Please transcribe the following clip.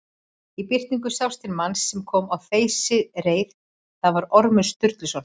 Í birtingu sást til manns sem kom á þeysireið, það var Ormur Sturluson.